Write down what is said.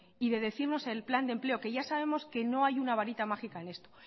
y de decirnos el plan de empleo que ya sabemos que no hay una barita mágica en esto